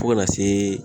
Fo ka na se